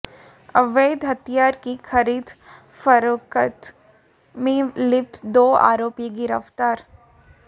अवैध हथियार की खरीद फरोख्त में लिप्त दो आरोपी गिरफ्तार